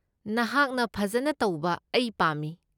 ꯅꯍꯥꯛꯅ ꯐꯖꯅ ꯇꯧꯕ ꯑꯩ ꯄꯥꯝꯃꯤ꯫